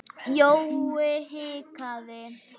Jói hikaði.